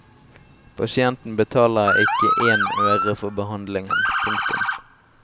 Pasienten betaler ikke én øre for behandlingen. punktum